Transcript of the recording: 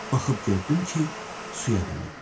Baxıb gördüm ki, suya dönüb.